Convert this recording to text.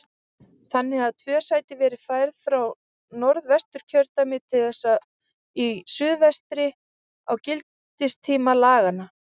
Þannig hafa tvö sæti verið færð frá Norðvesturkjördæmi til þess í suðvestri á gildistíma laganna.